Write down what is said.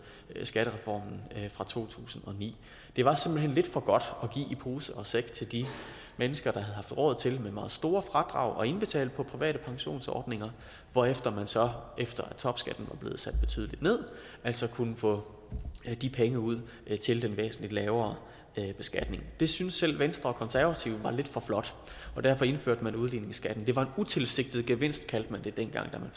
skattereformen fra to tusind og ni det var simpelt hen lidt for godt at give i pose og sæk til de mennesker der havde haft råd til med meget store fradrag at indbetale på private pensionsordninger hvorefter man så efter topskatten var blevet sat betydeligt ned så kunne få de penge ud til den væsentlig lavere beskatning det synes selv venstre og konservative var lidt for flot og derfor indførte man udligningsskatten det var en utilsigtet gevinst kaldte man det dengang da